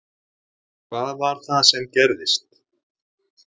Hvað var það sem gerðist?